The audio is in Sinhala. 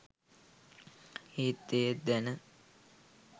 එහෙත් එය දැන